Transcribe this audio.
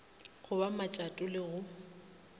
go ba matšato le go